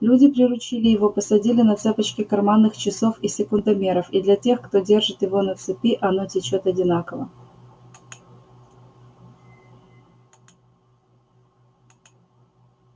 люди приручили его посадили на цепочки карманных часов и секундомеров и для тех кто держит его на цепи оно течёт одинаково